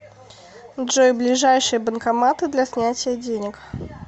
джой ближайшие банкоматы для снятия денег